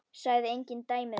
Sagði engin dæmi þess.